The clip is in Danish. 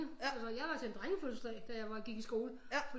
Altså jeg var til en drengefødselsdag da jeg gik i skole